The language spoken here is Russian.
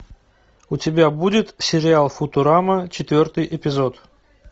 у тебя будет сериал футурама четвертый эпизод